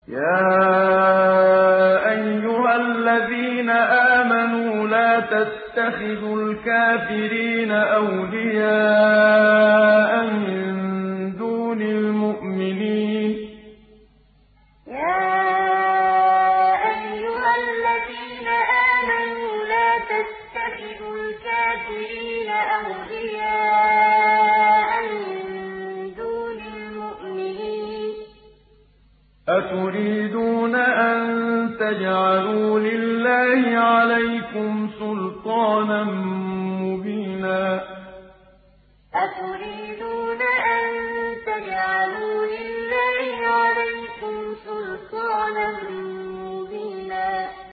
يَا أَيُّهَا الَّذِينَ آمَنُوا لَا تَتَّخِذُوا الْكَافِرِينَ أَوْلِيَاءَ مِن دُونِ الْمُؤْمِنِينَ ۚ أَتُرِيدُونَ أَن تَجْعَلُوا لِلَّهِ عَلَيْكُمْ سُلْطَانًا مُّبِينًا يَا أَيُّهَا الَّذِينَ آمَنُوا لَا تَتَّخِذُوا الْكَافِرِينَ أَوْلِيَاءَ مِن دُونِ الْمُؤْمِنِينَ ۚ أَتُرِيدُونَ أَن تَجْعَلُوا لِلَّهِ عَلَيْكُمْ سُلْطَانًا مُّبِينًا